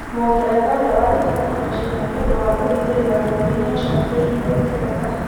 Mũngeretha ũrĩa wathitangĩirũo caina nĩ ũndũ wa kũhithĩrĩra bũrũri nĩ acokeirio Ngeretha.